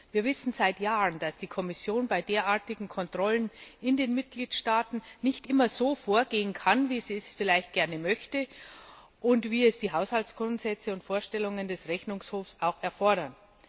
Wir wissen seit Jahren, dass die Kommission bei derartigen Kontrollen in den Mitgliedstaaten nicht immer so vorgehen kann, wie sie es vielleicht gerne möchte und wie es die Haushaltsgrundsätze und Vorstellungen des Rechnungshofs auch erfordern.